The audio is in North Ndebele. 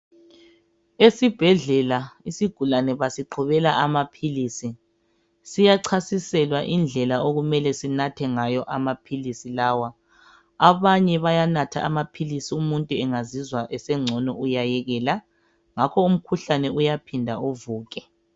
Esibhedlela isigulane basiqhubela amaphilisi. Siyachasiselwa indlela okumele siwanathe ngawo. Abanye bayanatha amaphilisi, umuntu engazizwa esengcono uyayekela. Ngakho umkhuhlane uyaphinde uvuke.